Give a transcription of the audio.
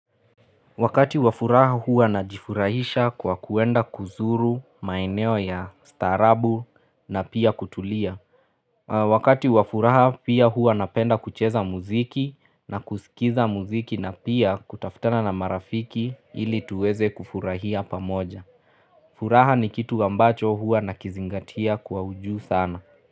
Wakati wafuraha hua na jifurahisha kwa kuenda kuzuru maeneo ya starabu na pia kutulia. Wakati wafuraha pia hua na penda kucheza muziki na kusikiza muziki na pia kutaftana na marafiki ili tuweze kufurahia pamoja. Furaha ni kitu ambacho hua na kizingatia kwa uju sana.